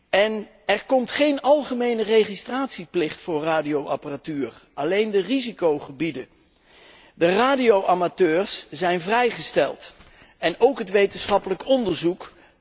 En er komt geen algemene registratieplicht voor radioapparatuur, alleen de risicogebieden. De radioamateurs zijn vrijgesteld, en ook het wetenschappelijk onderzoek.